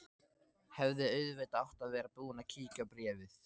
Hefði auðvitað átt að vera búin að kíkja á bréfið.